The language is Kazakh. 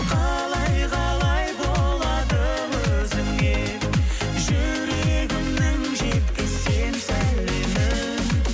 қалай қалай болады өзіңе жүрегімнің жеткізсем сәлемін